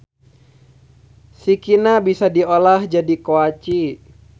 Sikina bisa diolah jadi koaci.